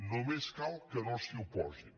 només cal que no s’hi oposin